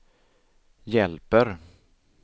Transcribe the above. hjälper